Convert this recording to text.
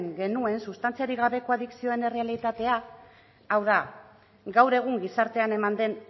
genuen sustantziarik gabeko adizioen errealitatea hau da gaur egun gizartean eman den